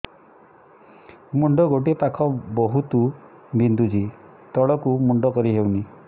ମୁଣ୍ଡ ଗୋଟିଏ ପାଖ ବହୁତୁ ବିନ୍ଧୁଛି ତଳକୁ ମୁଣ୍ଡ କରି ହଉନି